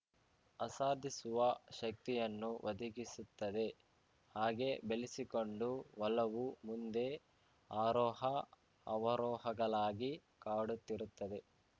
ಆಸಾದಿಸುವ ಶಕ್ತಿಯನ್ನೂ ಒದಗಿಸುತ್ತದೆ ಹಾಗೆ ಬೆಳೆಸಿಕೊಂಡು ಒಲವು ಮುಂದೆ ಆರೋಹಅವರೋಹಗಳಾಗಿ ಕಾಡುತ್ತಿರುತ್ತದೆ